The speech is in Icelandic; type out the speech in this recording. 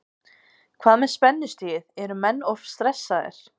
Hvað með spennustigið, eru menn of stressaðir?